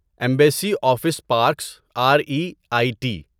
embassy Office Parks R E I T